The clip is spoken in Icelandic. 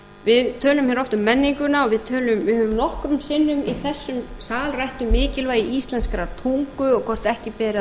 við tölum hér oft um menninguna og við höfum nokkrum sinnum í þessum sal rætt um mikilvægi íslenskrar tungu og hvort ekki beri að